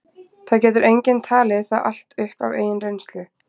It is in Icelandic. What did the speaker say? Það getur enginn talið það allt upp af eigin reynslu.